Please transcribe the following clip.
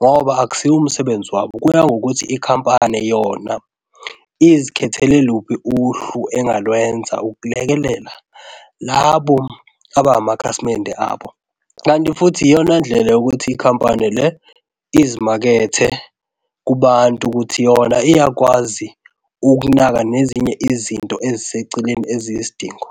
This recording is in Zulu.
ngoba akusiwo umsebenzi wabo, kuya ngokuthi ikhampani yona izikhethele luphi uhlu engalenza ukulekelela labo aba amakhasimende abo kanti futhi iyona ndlela yokuthi ikhampani le izimakethe kubantu ukuthi yona iyakwazi ukunaka nezinye izinto eziseceleni eziyisidingo.